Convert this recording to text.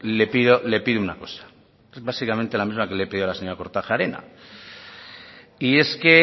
le pido una cosa es básicamente la misma que le he pedido a la señora kortajarena y es que